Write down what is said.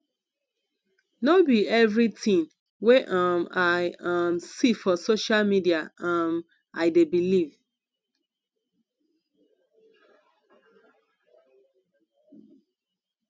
no be everytin wey um i um see for social media um i dey believe